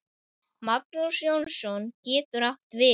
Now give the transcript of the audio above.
Magnús Jónsson getur átt við